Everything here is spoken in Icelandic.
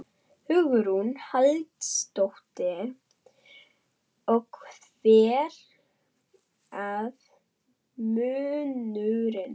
Hugrún Halldórsdóttir: Og hver var munurinn?